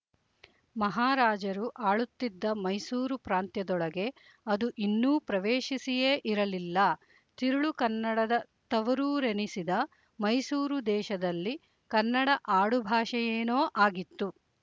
ಮಹಾರಾಜರು ಆಳುತ್ತಿದ್ದ ಮೈಸೂರು ಪ್ರಾಂತ್ಯದೊಳಗೆ ಅದು ಇನ್ನೂ ಪ್ರವೇಶಿಸಿಯೇ ಇರಲಿಲ್ಲ ತಿರುಳು ಕನ್ನಡದ ತವರೂರೆನಿಸಿದ ಮೈಸೂರು ದೇಶದಲ್ಲಿ ಕನ್ನಡ ಆಡುಭಾಷೆಯೇನೋ ಆಗಿತ್ತು